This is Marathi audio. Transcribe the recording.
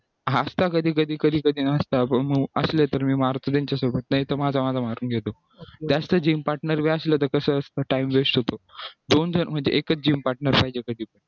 असता कधी कधी कधी कधी नसतं मग असले तर मी मारतो त्यांच्यासोबत नाहीतर माझं माझं मारून घेतो जास्त gym partner जर असलं तर कसं असतं time west होतो दोन जर म्हणजे एकच gym partner पाहिजे कधी